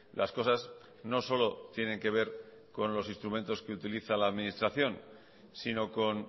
las cosas no solo tienen que ver con los instrumentos que utiliza la administración sino con